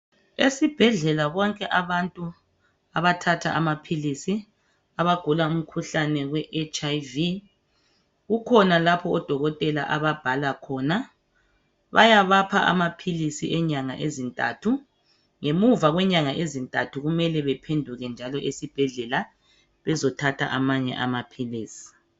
Esibhedlela bonke abantu abathatha amaphilisi, abagula umkhuhlane we HIV, kukhona lapho odokotela ababhala khona. Bayabapha amaphilisi enyanga ezintathu, ngemuva kwenyanga ezintathu kumele bephenduke njalo esibhedlela bezothatha amanye amaphilisi.